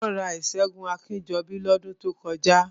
Wọ́n ra ìṣẹ́gun Akínjọbí ní ọdún tó kọjá